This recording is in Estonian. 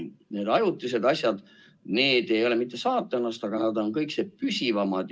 Need ajutised asjad – nad ei ole mitte saatanast, aga nad on kõikse püsivamad.